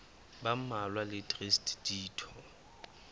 ba mmalwa le traste ditho